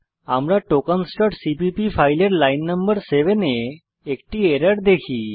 আমরা tokensসিপিপি ফাইলের লাইন নং 7 এ একটি এরর দেখি